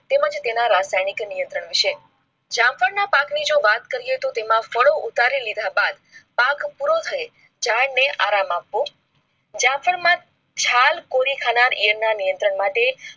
તેમાં જ તેના રસાયણિક નિયંત્રણ વિષય જામ્વાદ ના પાકની જો વાત કરીએ તો તેમાં ફાળો ઉતારી લીધા બધી પાક પૂરો થયી જાય આપો જામફળ માં ચાલ કોરી ખાનાર ઐયર ના નિયંત્રણ માટે